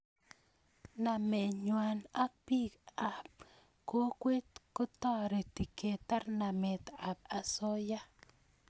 namet nguay ak pik am kokwet kotareti ketar namet ap osoya